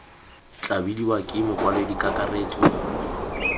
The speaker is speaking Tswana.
tla bidiwa ke mokwaledi kakaretso